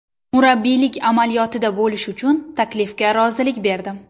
Murabbiylik amaliyotida bo‘lish uchun taklifga rozilik berdim.